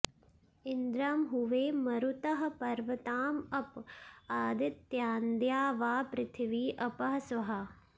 इन्द्रं॑ हुवे म॒रुतः॒ पर्व॑ताँ अ॒प आ॑दि॒त्यान्द्यावा॑पृथि॒वी अ॒पः स्वः॑